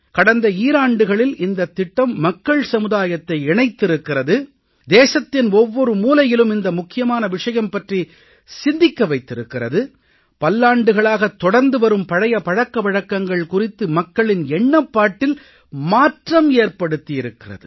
கடந்த ஈராண்டுகளில் இந்தத் திட்டம் மக்கள் சமுதாயத்தை இணைத்திருக்கிறது தேசத்தின் ஒவ்வொரு மூலையிலும் இந்த முக்கியமான விஷயம் பற்றி சிந்திக்க வைத்திருக்கிறது பல்லாண்டுகளாகத் தொடர்ந்து வரும் பழைய பழக்க வழக்கங்கள் குறித்து மக்களின் எண்ணப்பாட்டில் மாற்றம் ஏற்படுத்தி இருக்கிறது